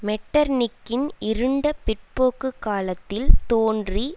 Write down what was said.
மெட்டர்நிக்கின் இருண்ட பிற்போக்குக் காலத்தில் தோன்றி